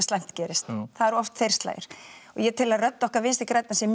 slæmt gerist það eru oft þeir slagir og ég tel að rödd okkar Vinstri grænna sé